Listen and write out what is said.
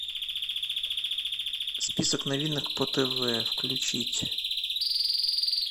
список новинок по тв включить